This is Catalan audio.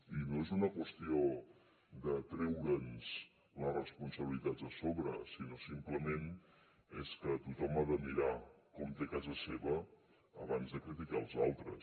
i no és una qüestió de treure’ns les responsabilitats de sobre sinó simplement és que tothom ha de mirar com té casa seva abans de criticar els altres